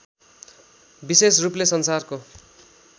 विशेष रूपले संसारको